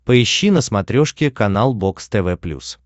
поищи на смотрешке канал бокс тв плюс